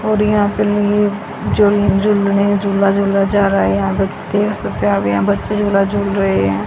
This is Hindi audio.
और यहां पर ये झूल झूलने झूला झूला जा रहा है यहां पे देख सकते आप यहां बच्चे झूला झूल रहे हैं।